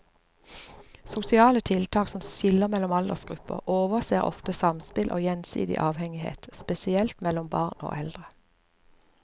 Sosiale tiltak som skiller mellom aldersgrupper overser ofte samspill og gjensidig avhengighet, spesielt mellom barn og eldre.